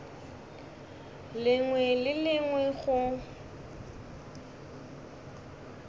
lengwe le le lengwe go